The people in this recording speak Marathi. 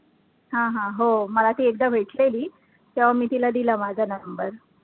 हा हा हो, मला ती एकदा भेटलेली, तेव्हा मी तीला दिला माझा number